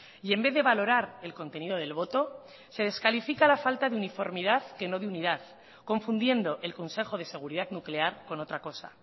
y en vez de valorar el contenido del voto se descalifica la falta de uniformidad que no de unidad confundiendo el consejo de seguridad nuclear con otra cosa